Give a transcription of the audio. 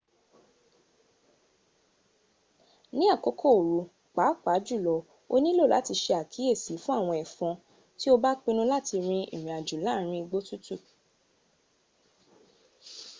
ni akoko oru paapajulo o nilo lati se akiyesi fun awon efon ti o ba pinnu lati rin irinajo laarin igbo tutu